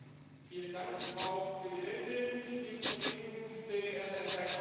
Frau Präsidentin, liebe Kollegen, sehr geehrter Herr Kommissar!